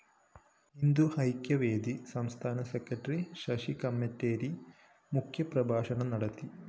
ഹിന്ദുഐക്യവേദി സംസ്ഥാന സെക്രട്ടറി ശശി കമ്മട്ടേരി മുഖ്യപ്രഭാഷണം നടത്തി